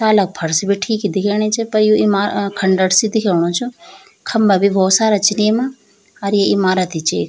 ताला क फर्श बि ठीक ही दिख्येणी च पर यु इमा र खंडर सी दिख्योणु च खम्बा भी भौत सारा छिन येमा अर यी इमारत ही च एक।